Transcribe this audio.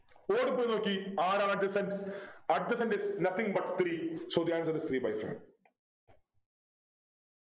ഓടിപ്പോയി നോക്കി ആരാണ് Adjacent Adjacent is nothing but three so the answer isthree by five